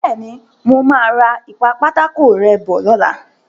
Bẹ́ẹ̀ni, mo máa ra ìpa-pátákó-rẹ́ bọ̀ lọ́la.